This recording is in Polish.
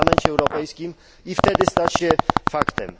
r. w Parlamencie Europejskim i wtedy stać się faktem.